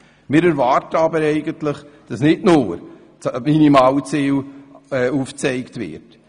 Wir erwarten eigentlich, dass nicht nur das Minimalziel erreicht wird.